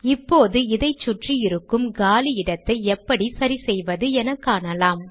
இப்போது இதைச் சுற்றி இருக்கும் காலி இடத்தை எப்படி சரி செய்வது எனக்காணலாம்